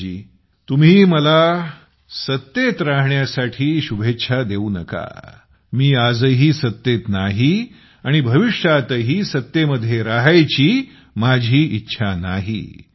राजेशजी तुम्ही मला सत्तेत राहण्यासाठी शुभेच्छा देऊ नका मी आजही सत्तेत नाही आणि भविष्यातही सत्तेमध्ये जायची माझी इच्छा नाही